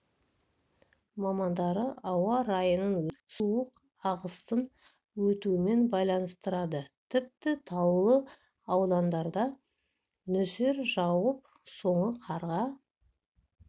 мамандары ауа райының өзгеруін суық ағыстың өтуімен байланыстырады тіпті таулы аудандарда нөсер жауып соңы қарға